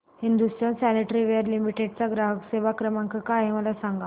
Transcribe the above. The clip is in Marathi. हिंदुस्तान सॅनिटरीवेयर लिमिटेड चा ग्राहक सेवा क्रमांक काय आहे मला सांगा